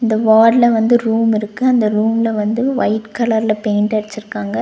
வார்டுல வந்து ரூம் இருக்கு இந்த ரூம்ல வந்து ஒயிட் கலர்ல பெயிண்ட் அடிச்சிருக்காங்க.